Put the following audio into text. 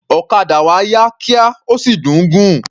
Òkadà wa yá kíá, ó sì dùn ún gùn.